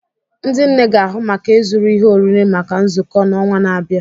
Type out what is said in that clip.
ndị nne ga-ahụ maka ịzụrụ ihe oriri maka nzukọ n'ọnwa na-abịa